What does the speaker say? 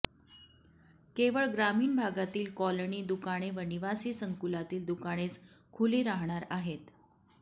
केवळ ग्रामीण भागातील कॉलनी दुकाने व निवासी संकुलातील दुकानेच खुली राहणार आहेत